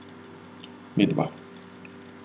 Midva.